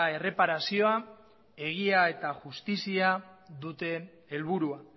erreparazioa egia eta justizia dute helburua